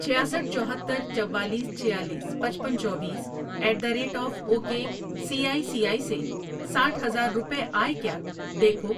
چھیاسٹھ ،چوہتر، چوالیس، چھیالیس، پچپن، چوبیس ایٹ دیی ریٹ آف اوو کے سی ایی سی ایی سے ساٹھ ہزار روپے آئے کیا دیکھو۔